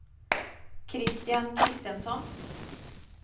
Kristian Christensson